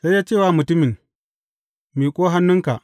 Sai ya ce wa mutumin, Miƙo hannunka.